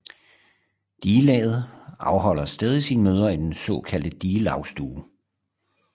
Digelaget afholder stadig sine møder i den såkaldte digelagsstue